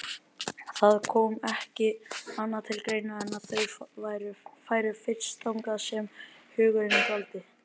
Það kom ekki annað til greina en að þau færu fyrst þangað sem hugurinn dvaldi.